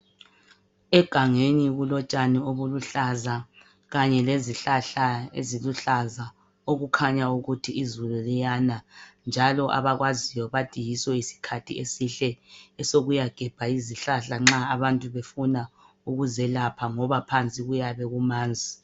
Egangeni kulotshani obuluhlaza kanye lezihlahla eziluhlaza okukhanya ukuthi izulu liyana njalo abakwaziyo bathi yiso isikhathi esihle esokuyagebha izihlahla nxa abantu befuna ukuzelapha ngoba phansi kuyabe kumanzi.